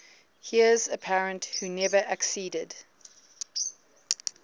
heirs apparent who never acceded